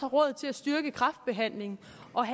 råd til at styrke kræftbehandlingen